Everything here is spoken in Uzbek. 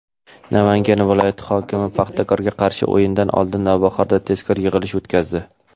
Namangan viloyati hokimi "Paxtakor"ga qarshi o‘yin oldidan "Navbahor"da tezkor yig‘ilish o‘tkazdi.